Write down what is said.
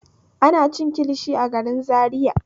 Ana cinikin kilishi a garin Zariya.